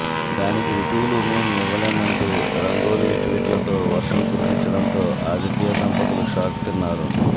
దానికి రుజువులు మెం ఇవ్వలేం అంటూ రంగోలి ట్విట్ల తో వర్షం కురిపించడంతో ఆదిత్య దంపతులు షాక్ తిన్నారు